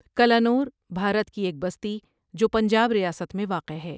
کَلانَوربھارت کی ایک بستی جو پنجاب ریاست میں واقع ہے۔